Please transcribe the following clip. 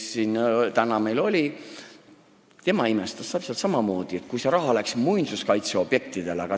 Ka tänane kaasettekandja imestas samamoodi, kuidas see raha saab minna muinsuskaitse objektidele.